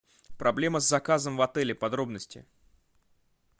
проблема с заказом в отеле подробности